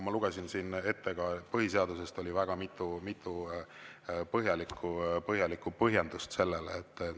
Ma lugesin siin ette ka põhiseadusest mitu põhjalikku põhjendust.